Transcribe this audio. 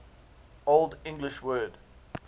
old english word